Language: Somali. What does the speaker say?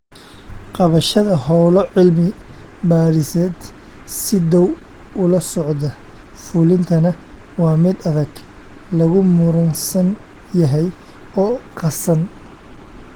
Qabashada hawlo cilmi baadhiseed si dhow ula socda fulintana waa mid adag, lagu muransan yahay, oo qasan!